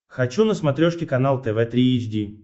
хочу на смотрешке канал тв три эйч ди